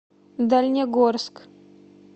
дальнегорск